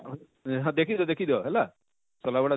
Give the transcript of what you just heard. ହଁ ଦେଖି ଦିଅ ଦେଖି ଦିଅ ହେଲା ଶଲାବୁଢ଼ା